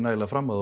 fram á